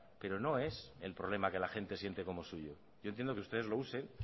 pero no es el problema que la gente siente como suyo yo entiendo que ustedes lo usen